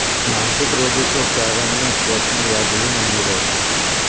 मानसिक रोगी को प्रारंभ में स्वप्न याद ही नहीं रहते